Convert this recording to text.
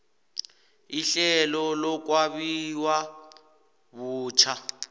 ihlelo lokwabiwa butjha